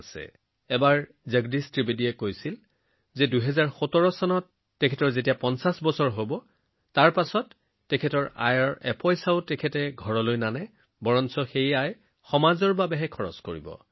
এনেকুৱাই হল যে এবাৰ ভাই জগদীশ ত্ৰিবেদীজীয়ে কৈছিল যে ২০১৭ চনত যেতিয়া ৫০ বছৰ সম্পূৰ্ণ হব তেতিয়া তেওঁ নিজৰ কাৰ্যসূচীৰ পৰা উপাৰ্জন কৰা ধন ঘৰলৈ লৈ নাযায় বৰঞ্চ সমাজত খৰচ কৰিব